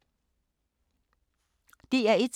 DR1